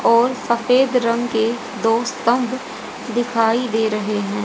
और सफेद रंग के दो स्तंभ दिखाई दे रहे है।